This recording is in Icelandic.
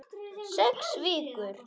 Sex vikur.